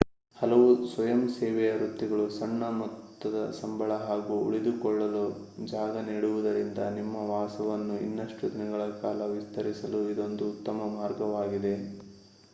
ಹಲವು ಸ್ವಯಂಸೇವೆಯ ವೃತ್ತಿಗಳು ಸಣ್ಣ ಮೊತ್ತದ ಸಂಬಳ ಹಾಗೂ ಉಳಿದುಕೊಳ್ಳಲು ಜಾಗ ನೀಡುವುದರಿಂದ ನಿಮ್ಮ ವಾಸವನ್ನು ಇನ್ನಷ್ಟು ದಿನಗಳ ಕಾಲ ವಿಸ್ತರಿಸಲು ಇದೊಂದು ಉತ್ತಮ ಮಾರ್ಗವಾಗಿದೆ